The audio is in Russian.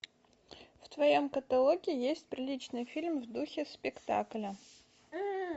в твоем каталоге есть приличный фильм в духе спектакля